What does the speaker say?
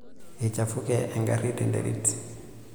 Eichafuke engari tenterit.